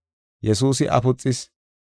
Yesuusi afuxis.